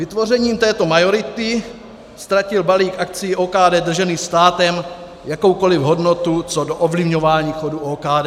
Vytvořením této majority ztratil balík akcií OKD držených státem jakoukoli hodnotu co do ovlivňování chodu OKD.